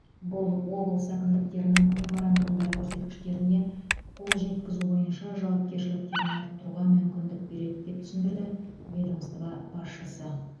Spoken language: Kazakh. бұл облыс әкімдіктерінің меморандумдар көрсеткіштеріне қол жеткізу бойынша жауапкершіліктерін арттыруға мүмкіндік береді деп түсіндірді ведомство басшысы